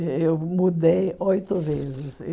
Eh eu mudei oito vezes.